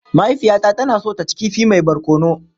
Mahaifiyata tana so ta ci kifi mai barkono.